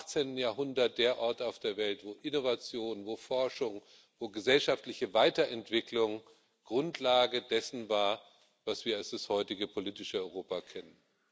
18. Jahrhundert der Ort auf der Welt, an dem Innovation, an dem Forschung, wo gesellschaftliche Weiterentwicklung Grundlage dessen war, was wir als das heutige politische Europa kennen.